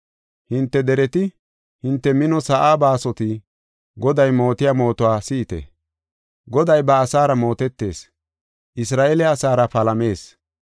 Hinte dereti, hinte mino sa7aa baasoti, Goday mootiya mootuwa si7ite. Goday ba asaara mootetees; Isra7eele asaara palamees.